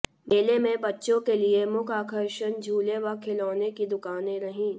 मेले में बच्चों के लिए मुख्य आकर्षण झूले व खिलौनों की दुकानें रहीं